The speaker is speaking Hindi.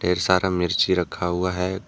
ढेर सारा मिर्ची रखा हुआ है।